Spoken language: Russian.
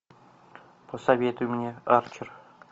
посоветуй мне арчер